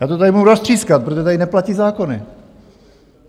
Já to tady mohu roztřískat, protože tady neplatí zákony.